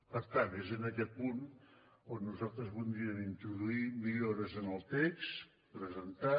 per tant és en aquest punt on nosaltres voldríem introduir millores en el text presentat